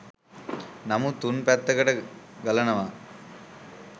නමුත් තුන් පැත්තකට ගලනවා